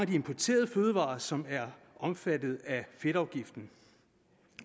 de importerede fødevarers vedkommende som er omfattet af fedtafgiften